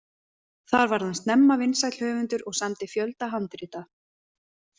Þar varð hann snemma vinsæll höfundur og samdi fjölda handrita.